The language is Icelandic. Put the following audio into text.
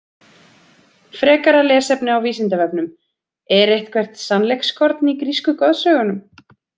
Frekara lesefni á Vísindavefnum: Er eitthvert sannleikskorn í grísku goðsögunum?